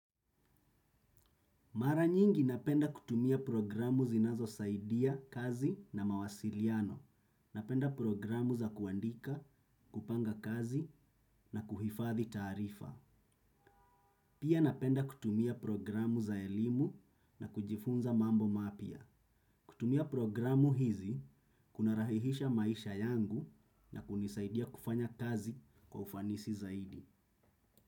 Mara nyingi napenda kutumia programu zinazo saidia kazi na mawasiliano. Napenda programu za kuandika, kupanga kazi na kuhifathi tarifa. Pia napenda kutumia programu za elimu na kujifunza mambo mapya. Kutumia programu hizi, kuna rahihisha maisha yangu na kunisaidia kufanya kazi kwa ufanisi zaidi.